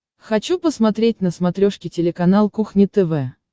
хочу посмотреть на смотрешке телеканал кухня тв